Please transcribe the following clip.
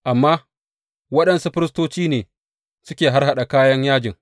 Amma waɗansu firistoci ne suke harhaɗa kayan yajin.